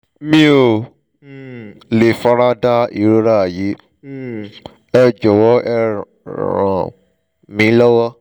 mi ò um lè fara da ìrora yìí um ẹ jọ̀wọ́ ẹ ràn mí lọ́wọ́